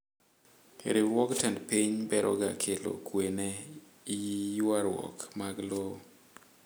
Riwruog tend piny beroga kelo kwee ne yuaruok mag lowo.